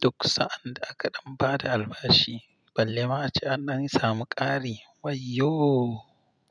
Duk sa'an da aka ɗan ba da albashi balle ma a ce an dan sami ƙari wayyo!